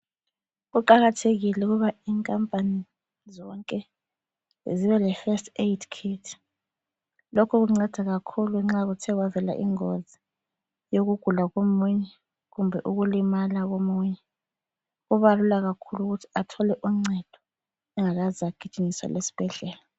Kuqakathekile ukuba inkampani zonke zibe lefirst aid kit. Lokhu kunceda kakhulu nxa kuthe kwavela ingozi yokugula komunye kumbe ukulimala komunye. Kuba lula kakhulu ukuthi athole uncedo engakaze agijinyiselwe esbhedlela.